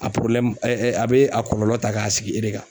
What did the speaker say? A a bɛ a kɔlɔlɔ ta k'a sigi e de kan.